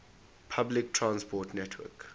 public transport network